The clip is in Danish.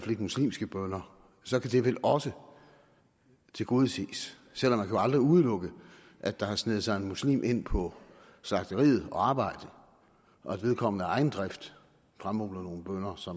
muslimske bønner så kan det vel også tilgodeses selv om man jo aldrig kan udelukke at der har sneget sig en muslim ind på slagteriet at arbejde og at vedkommende af egen drift fremmaner nogle bønner så